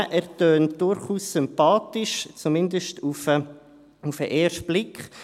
Er tönt durchaus sympathisch, zumindest auf den ersten Blick.